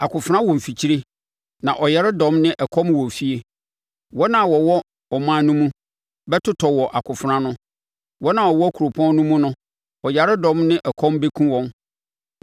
Akofena wɔ mfikyire; na ɔyaredɔm ne ɛkɔm wɔ efie. Wɔn a wɔwɔ ɔman no mu bɛtotɔ wɔ akofena ano. Wɔn a wɔwɔ kuropɔn no mu no, ɔyaredɔm ne ɛkɔm bɛkum wɔn.